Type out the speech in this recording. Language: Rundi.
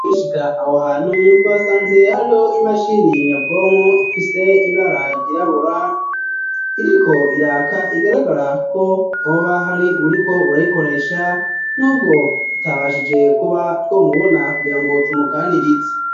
Tugishika aho hantu twasanze hariho imashini nyabwonko ifise ibara ryirabura iriko iraka igaragara ko hoba hari buriko urayikoresha n'ubwo tutabashije kuba twomubona kugira ngo tumuganirize.